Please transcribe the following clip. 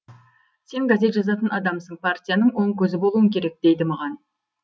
сен газет жазатын адамсың партияның оң көзі болуың керек дейді маған